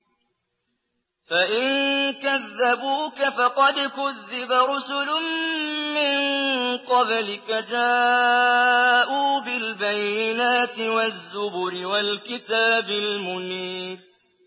فَإِن كَذَّبُوكَ فَقَدْ كُذِّبَ رُسُلٌ مِّن قَبْلِكَ جَاءُوا بِالْبَيِّنَاتِ وَالزُّبُرِ وَالْكِتَابِ الْمُنِيرِ